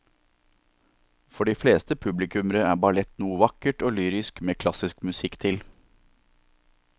For de fleste publikummere er ballett noe vakkert og lyrisk med klassisk musikk til.